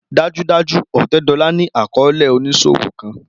Dajudaju Otedola ni akọọlẹ oniṣowo kan